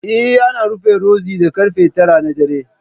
Eh, ana rufe Rozi da karfe tara na dare